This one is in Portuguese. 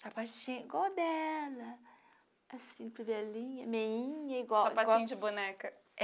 Sapatinho igual o dela, assim, com violinha, meinha, igual... Sapatinho de boneca.